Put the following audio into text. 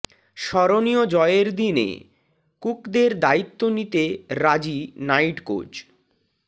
স্মরণীয় জয়ের দিনে কুকদের দায়িত্ব নিতে রাজি নাইট কোচ